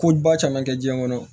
Ko ba caman kɛ jiɲɛ kɔnɔ